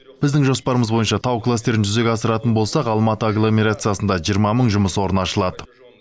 біздің жоспарымыз бойынша тау кластерін жүзеге асыратын болсақ алматы агломерациясында жиырма мың жұмыс орны ашылады